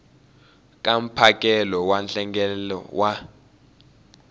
ka mphakelo wa nhlengelo wa